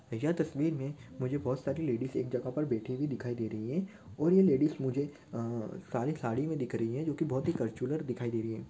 यह तस्वीर मे मुझे बहुत सारी लेडिज एक जगह पर बैठी हुई दिखाई दे रही है और ये लेडिज मुझे अह सारी साड़ी मे दिख रही है जो की बहुत ही कर्च्युलर दिखाई दे रही है।